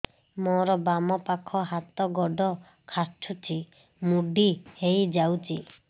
ମୋର ବାମ ପାଖ ହାତ ଗୋଡ ଖାଁଚୁଛି ମୁଡି ହେଇ ଯାଉଛି